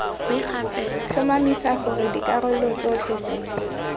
tlhomamisa gore dikarolo tsotlhe tse